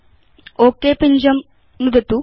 okay पिञ्जं नुदतु